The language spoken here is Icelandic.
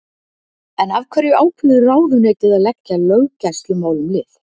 En af hverju ákveður ráðuneytið að leggja löggæslumálum lið?